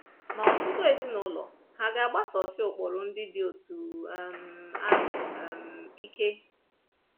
Ma ọtụtụ ezinụlọ hà ga-agbasosi ụkpụrụ ndị dị otú um ahụ um ike?